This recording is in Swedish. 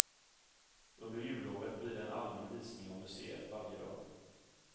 Under jullovet blir det en allmän visning av museet varje dag.